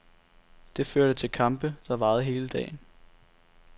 Det førte til kampe, der varede hele dagen.